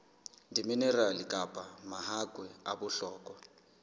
diminerale kapa mahakwe a bohlokwa